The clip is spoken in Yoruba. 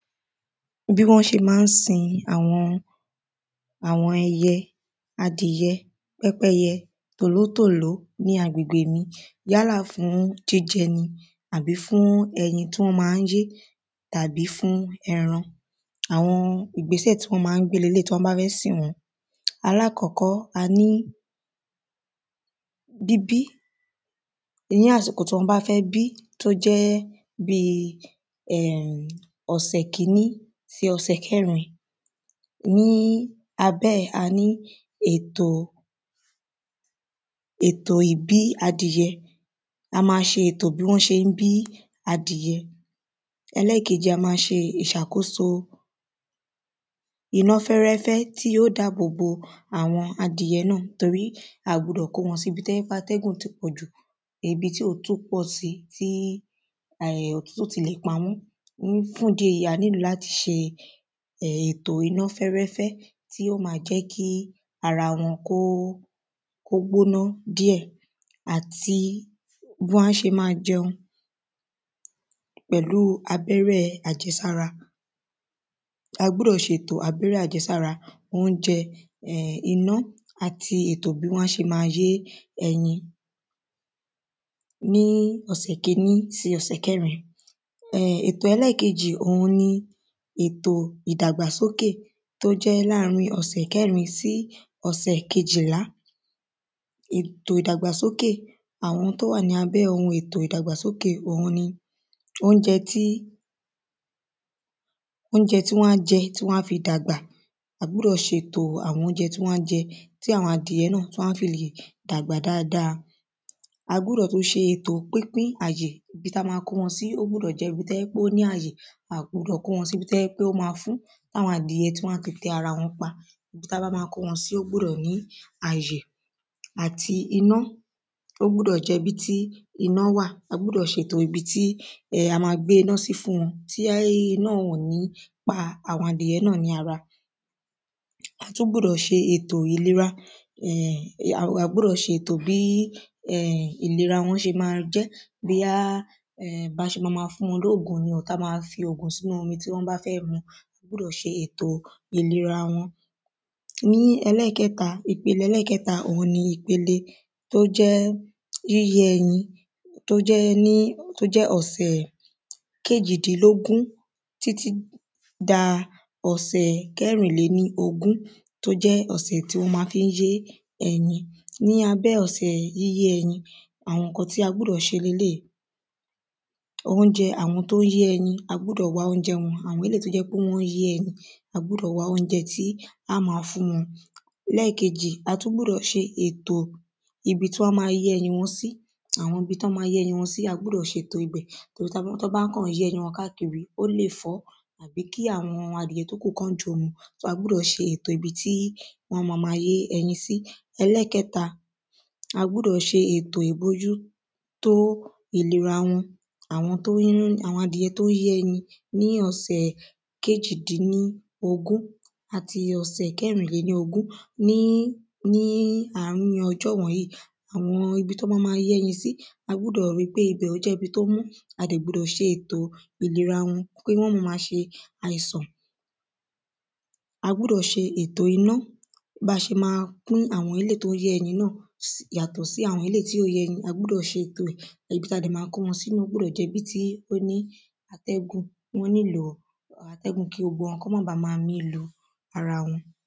Bí wọ́n ṣe má ń sin àwọn àwọn eye adìyẹ pépéyẹ tòlótòló ní agbègbè mi yálà fún jíjẹ ni àbí fún ẹyin tí wọ́n má ń yé tàbí fún ẹran àwọn ìgbésẹ̀ tí wọ́n má ń gbé leléèyí tí wọ́n bá fẹ́ sìn wọ́n. Alákọ́kọ́ a ní bíbí ní àsìkò tí wọ́n bá fẹ́ bí tó jẹ́ bí um ọ̀sẹ̀ kíní sí ọ̀sẹ̀ kẹ́rin ní abẹ́ ẹ̀ a ní ètò ètò ìbí adìyẹ a má ṣe ètò bí wọ́n ṣé ń bí adìyẹ ẹlẹ́ẹ̀kejì a má ṣe ìṣàkóso iná fẹ́rẹ́fẹ́ tí yóò dáàbò bo àwọn adìyẹ náà torí a gbúdọ̀ kó wọn sí ibi tó jẹ́ wípé atẹ́gùn ti pọ̀jù ibi tí òtútù pọ̀ sí tó jẹ́ pé um òtútù ti le pa wọ́n fún ìdí èyí a nílò láti ṣe um ètò iná fẹ́rẹ́fẹ́ tí ó ma jẹ́ kí ara wọn kó kó gbóná díẹ̀ àti bí wọ́n ṣe má jẹun pẹ̀lú abẹ́rẹ́ àjẹsára a gbúdọ̀ ṣètò abẹ́rẹ́ àjẹsára óúnjẹ iná àti ìtọ́jú bí wọ́n á ṣe má yé ẹyin ní ọ̀sẹ̀ kíní sí ọ̀sẹ̀ kẹ́rin um ètò ẹlẹ́ẹ̀kejì òhun ni ètò ìdàgbà sókè tó jẹ́ láàrin ọ̀sẹ̀ kẹ́rin sí ọ̀sẹ̀ kejìlá ètò ìdàgbàsókè àwọn ohun tó wà ní abé ètò ìdàgbàsókè òhun ni óúnjẹ tí óúnjẹ tí wọ́n á jẹ tí wọ́n á fi dàgbà a gbúdọ̀ ṣe ètò àwọn óúnjẹ tí wọ́n á jẹ tí àwọn adìyẹ náà wọ́n á sì dàgbà dáada a gbúdọ̀ tún ṣe ètò pínpín àyè ibi tí a gbúdọ̀ kó wọn sí ó gbúdọ̀ jẹ́ ibi tó ní àyè a gbudọ̀ kó wọn sí ibi tó jẹ́ pé ó má fún tí àwọn adìyẹ á fi tẹra wọn pa ibi tá bá má kó wọn sí ó gbúdọ̀ ní àyè àti iná ó gbúdọ̀ jẹ́ ibi tí iná wà a gbúdọ̀ ṣètò ibi tí um a má gbéná sí fún wọn tí iná yẹn ò ní pa àwọn adìyẹ náà ní ara a tún gbúdọ̀ ṣe ètò ìlera á gbúdọ̀ ṣe ètò bí um ìlera wọn ṣe má jẹ́ bóyá bá ṣe má má fún wọn ní òògùn tá ṣe má má fi òògùn sínú omi tán bá fẹ́ mu a gbúdọ̀ ṣe ètò ìlera wọn Ní ẹlẹ́ẹ̀kẹta ìpele ẹlẹ́ẹ̀kẹta òhun ni ìpele tó jẹ́ yíyé ẹyin tó jẹ́ ọ̀sẹ̀ kejìdínlógún títí da ọ̀sẹ̀ kẹrinléníogún tó jẹ́ ọ̀sẹ̀ tí wọ́n má fí ń yé ẹyin ní abẹ́ ọ̀sẹ̀ yíyé ẹyin àwọn nǹkan tí a gbúdọ̀ ṣe ni eléèyí. óúnjẹ àwọn tó ń yé ẹyin a gbúdọ̀ wá óúnjẹ wọn àwọn eléèyí tó ń yé ẹyin a gbúdọ̀ wá óúnjẹ tí á ma fún wọn ẹlẹ́ẹ̀kejì a tún gbúdọ̀ ṣe ètò ibi tí wọ́n má yé ẹyin wọn sí àwọn ibi tí wọ́n má yé ẹyin wọn sí a gbúdọ̀ ṣe ètò rẹ̀ torí tí wọ́n bá ń yé ẹyin wọn káàkiri ó lè fọ́ tàbí kí àwọn adìyẹ tó kù kí wọ́n jòó mu so a gbúdọ̀ ṣe ètò ibi tí wọ́n má má yé ẹyin sí. Ẹlẹ́ẹ̀kẹta a gbúdọ̀ ṣe ètò ìbójú tó ìlera wọn àwọn adìyẹ tó ń yé ẹyin ní ọ̀sẹ̀ kejìdínníogún àti ọ̀sẹ̀ kẹrìnléníogún ní ní àrin ọjọ́ wọ̀nyìí àwọn ibi tán má má yé ẹyin sí a gbúdọ̀ rí pé ibẹ̀ ó jẹ́ ibi tó mọ́ a dẹ̀ gbudọ̀ ṣe ètò ìlera wọn kí wọ́n má má ṣe àìsàn a gbúdọ̀ ṣe ètò iná bá ṣe má fún àwọn eléèyí tó ń yé ẹyin náà yàtọ̀ sí àwọn eléèyí tí ò yé ẹyin ibi tí a sì má kó wọn sí ó gbúdọ̀ jẹ́ ibi tí ó ní ó nílò atẹ́gùn kí gbogbo wọn má bá má mí lu ara wọn.